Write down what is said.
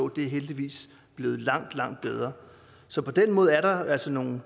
det er heldigvis blevet langt langt bedre så på den måde er der altså nogle